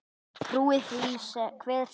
Trúi því hver sem vill.